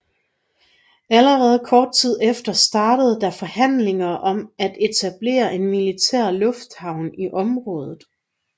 Allerede kort tid efter startede der forhandlinger om at etablere en militær lufthavn i området